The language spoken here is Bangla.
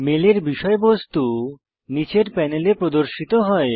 মেলের বিষয়বস্তু নীচের প্যানেলে প্রদর্শিত হয়